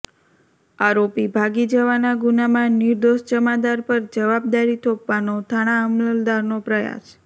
આરોપી ભાગી જવાના ગુનામાં નિર્દોષ જમાદાર પર જવાબદારી થોપવાનો થાણા અમલદારનો પ્રયાસ